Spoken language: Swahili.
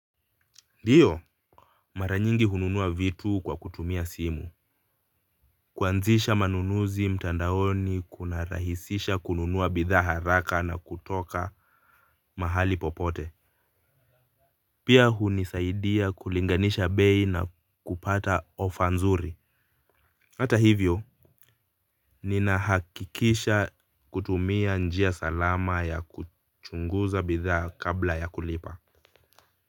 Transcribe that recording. Ndiyo maranyingi hununua vitu kwa kutumia simu. Kwanzisha manunuzi mtandaoni kuna rahisisha kununua bidhaa haraka na kutoka mahali popote. Pia hunisaidia kulinganisha bei na kupata ofa nzuri. Hata hivyo ninahakikisha kutumia njia salama ya kuchunguza bidhaa kabla ya kulipa. Kwa hivyo.